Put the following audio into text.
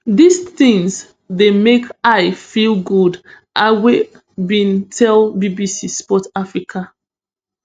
dis tins dey make i feel good ayew bin tell bbc sport africa